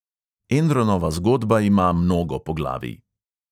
Enronova zgodba ima mnogo poglavij.